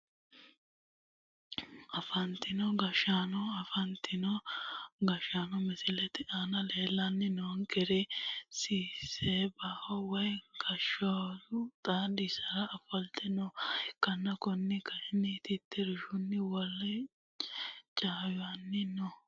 Afantino gashaano afantino gashaano misilete aana leeltani noonkeri sibsebaho woy ganbooshu xaadoshira ofolte nooha ikana kuni kayini titirshuni woleho cawisani no.